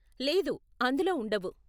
లేదు, అందులో ఉండవు.